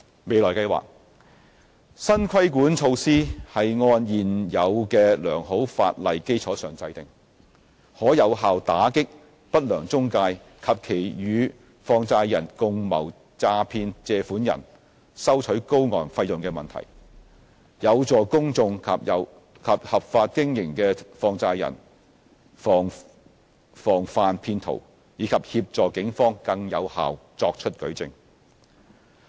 未來計劃新的規管措施是按現有的良好法例基礎制訂，可有效打擊不良中介及其與放債人共謀詐騙借款人收取高昂費用的問題，有助公眾及合法經營的放債人防範騙徒，以及協助警方更有效作出舉證。